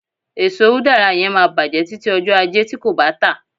eso udara yen ma bajẹ tıti ọjọ aje ti nbọ ti ko ba ta